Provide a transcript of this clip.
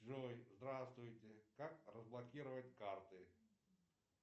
джой здравствуйте как разблокировать карты